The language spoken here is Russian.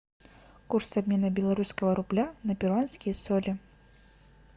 курс обмена белорусского рубля на перуанские соли